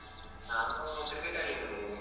ನಾನು ಕ್ರಿಕೆಟ್ ಆಡ್ಲಿಕೆ ಬಂದಿದ್ದೇನೆ.